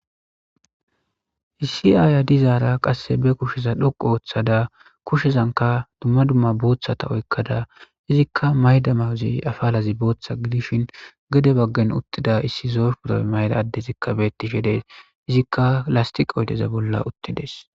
Issi aaya dizaara qasse be kusheza dhoqu ooththada kushezanka dumma dumma booththata oykkada izikka mayda mawuzey afalazi booththa gidishin gade baggen uttida issi zoy purae mayda addezikka beettishe des izikka lastiq oydeza bolla uttides.